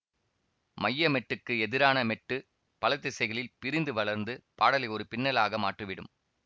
மைய மெட்டுக்கு எதிரான மெட்டு பலதிசைகளில் பிரிந்து வளர்ந்து பாடலை ஒரு பின்னலாக மாற்றிவிடும்